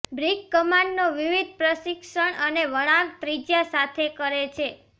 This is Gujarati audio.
બ્રિક કમાનો વિવિધ પ્રશિક્ષણ અને વળાંક ત્રિજ્યા સાથે કરે છે